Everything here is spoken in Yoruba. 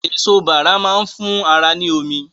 Èso Bàrà máa ń fún ara ní omi